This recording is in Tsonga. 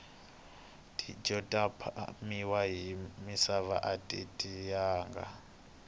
tindlo ta phamiwa hi misava ati tiyanga